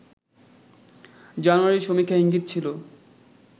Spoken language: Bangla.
জানুয়ারির সমীক্ষায় ইঙ্গিত ছিল